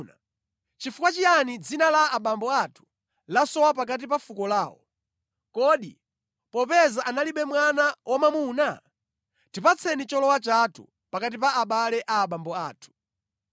Nʼchifukwa chiyani dzina la abambo athu lasowa pakati pa fuko lawo, kodi popeza analibe mwana wamwamuna? Tipatseni cholowa chathu pakati pa abale a abambo athu.”